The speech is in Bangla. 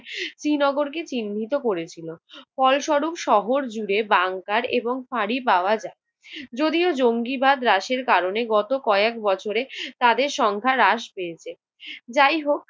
শ্রীনগরকে চিহ্নিত করেছিল। ফলস্বরূপ শহরজুড়ে বাঙ্কার এবং ফাঁড়ি পাওয়া যায়। যদিও জঙ্গিবাদ হ্রাসের কারণে গত কয়েক বছরে তাদের সংখ্যা হ্রাস পেয়েছে। যাই হোক